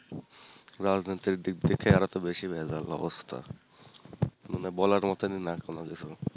রাজনীতির দিক থেকে আরও তো বেশি ভেজাল অবস্থা মানে বলার মতোন ই না কোনোকিছু